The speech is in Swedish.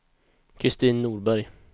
Kristin Norberg